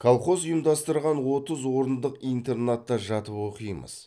колхоз ұйымдастырған отыз орындық интернатта жатып оқимыз